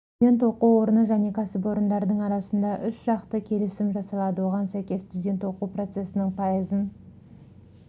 студент оқу орны және кәсіпорындардың арасында үшжақты келісім жасалады оған сәйкес студент оқу процесінің пайызын